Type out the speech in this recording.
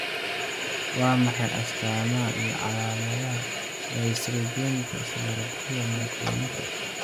Waa maxay astaamaha iyo calaamadaha Dyssynergika cerebellariska myoclonica?